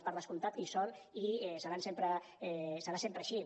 per descomptat que hi són i serà sempre així